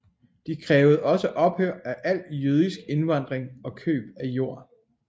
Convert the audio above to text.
De krævede også ophør af al jødisk indvandring og køb af jord